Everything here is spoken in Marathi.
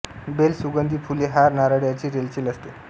बेल सुंगधी फुले हार नारळ यांची रेलचेल असते